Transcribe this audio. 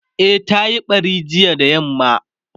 e ta Yi ɓari jiya da yamma